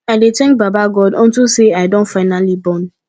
i dey thank baba god unto say i don finally born